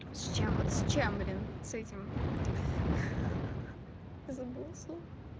с чем вот с чем блин с этим ха-ха я забыла слово